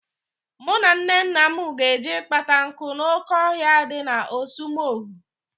Mụ na Nnenne m ga-eje ịkpata nkụ n'oke ọhịa dị na ọsụmoghu.